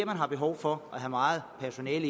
man har behov for at have meget personale